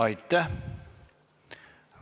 Aitäh!